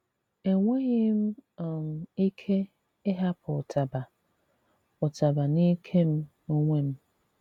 Enwèghị m um ike ịhàpụ̀ ụtabà ụtabà n’ìke m onwe m.